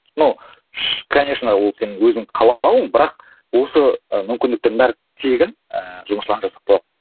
но конечно ол сенің өзің қалауың бірақ осы мүмкіндіктердің бәрі тегін ііі жұмысшыларына жасап қойған